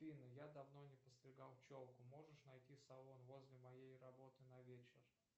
афина я давно не подстригал челку можешь найти салон возле моей работы на вечер